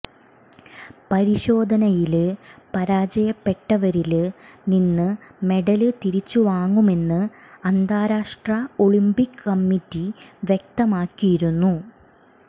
പരിശോധനയില് പരാജയപ്പെട്ടവരില് നിന്ന് മെഡല് തിരിച്ചുവാങ്ങുമെന്ന് അന്താരാഷ്ട്ര ഒളിംപിക് കമ്മിറ്റി വ്യക്തമാക്കിയിരുന്നു